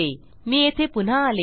मी येथे पुन्हा आलो